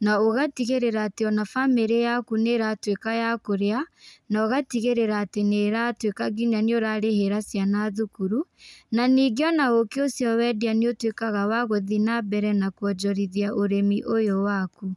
na ũgatigĩrĩra atĩ ona bamĩrĩ yaku nĩ ĩratuĩka ya kũrĩa, na ũgatigĩrĩra atĩ nĩ ĩratuĩka nginya nĩ ũrarĩhira ciana thukuru, na ningĩ ona ũkĩ ũcio wendia nĩ ũtuĩkaga wa gũthiĩ na mbere na kwonjorithia ũrĩmi ũyo waku.